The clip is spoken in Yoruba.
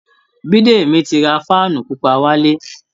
Biídemi ti ra fan pupa wálé